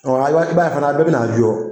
Ɔ a ye b'a i b'a ye fana a bɛɛ bi na a jɔ